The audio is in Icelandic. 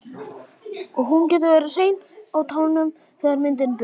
Og hún getur verið hrein á tánum þegar myndin byrjar.